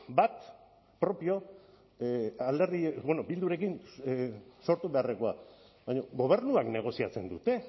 bat propio alderdi bueno bildurekin sortu beharrekoa baina gobernuak negoziatzen dute